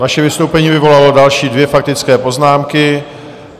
Vaše vystoupení vyvolalo další dvě faktické poznámky.